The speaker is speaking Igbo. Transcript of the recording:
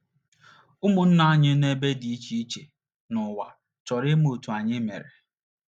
Ụmụnna anyị nọ n’ebe dị iche iche n’ụwa chọrọ ịma otú anyị mere.